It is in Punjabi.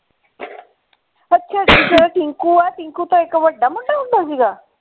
ਤੇ ਉਹ tinku ਹੈ tinku ਤੋਂ ਇਕ ਬੜਾ ਮੁੰਡਾ ਹੁੰਦਾ ਸੀਗਾ।